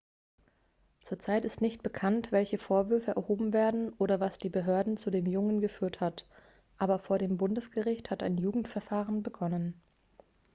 zur zeit ist nicht bekannt welche vorwürfe erhoben werden oder was die behörden zu dem jungen geführt hat aber vor dem bundesgericht hat ein jugendverfahren begonnen